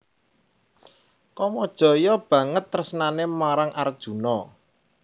Kamajaya banget tresnané marang Arjuna